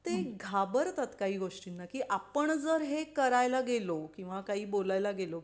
ते घाबरतात काही गोष्टींना की आपण जर हे करायला गेलो किंवा काही बोलला ला गेलो